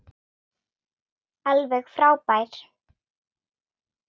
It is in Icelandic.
Alveg frábær.